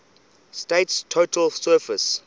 state's total surface